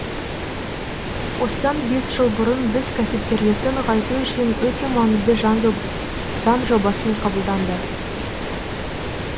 осыдан бес жыл бұрын біз кәсіпкерлікті нығайту үшін өте маңызды заң жобасын қабылданды